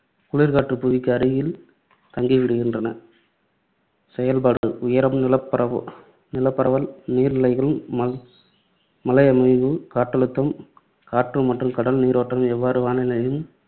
குளிர்காற்று புவிக்கு அருகில் தங்கிவிடுகின்றன. செயல்பாடு உயரம், நிலப்பரவல், நீர்நிலைகள், ம~ மலையமைவு, காற்றழுத்தம், காற்று மற்றும் கடல் நீரோட்டம் எவ்வாறு வானிலையையும்,